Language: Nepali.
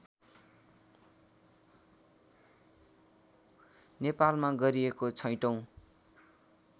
नेपालमा गरिएको छैटौँ